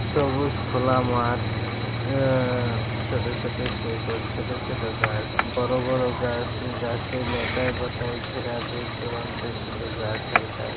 সবুজ খোলা মাঠ । আআআআ ছোট ছোট শেকড়। ছোট ছোট গাছ। বড়ো বড়ো গাছ। গাছের লতায় পাতায় ঘেরা দূর দূরান্তে শুধু গাছ আর গাছ।